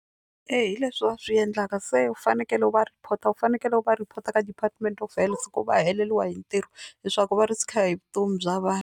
Ee hi leswi va swi endlaka se u fanekele u va report u fanekele u va report ka Department of Health se ku va heleriwa hi ntirho leswaku va risk hi vutomi bya vanhu.